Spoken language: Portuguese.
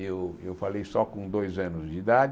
Eu eu falei só com dois anos de idade.